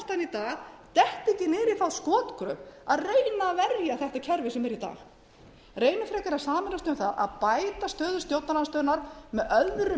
sé hluti af henni ég vona að stjórnarandstaðan í dag detti ekki niður í þá skotgröf að reyna að verja þetta kerfi sem er í dag